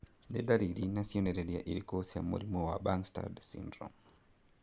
Nĩ ndariri na cionereria irĩkũ cia mũrimũ wa Bangstad syndrome?